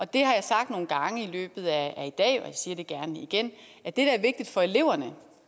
det har jeg sagt nogle gange i løbet af i dag og jeg siger det gerne igen det der er vigtigt for eleverne